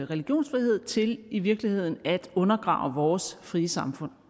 religionsfrihed til i virkeligheden at undergrave vores frie samfund